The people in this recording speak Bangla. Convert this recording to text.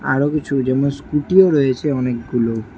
আরো কিছুজনের স্কুটিও -ও রয়েছে অনেকগুলো।